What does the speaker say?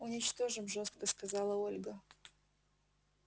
уничтожим жёстко сказала ольга